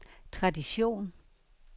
tradition